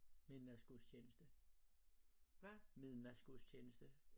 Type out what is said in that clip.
Midnatsgudstjeneste midnatsgudstjeneste